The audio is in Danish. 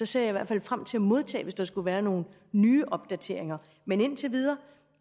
ser i hvert fald frem til at modtage det hvis der skulle være nogle nye opdateringer men indtil videre